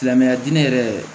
Silamɛya diinɛ yɛrɛ